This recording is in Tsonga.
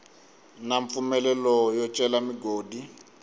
na mpfumelelo yo cela migodi